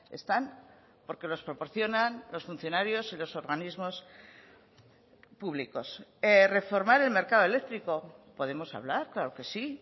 están porque los proporcionan los funcionarios y los organismos públicos reformar el mercado eléctrico podemos hablar claro que sí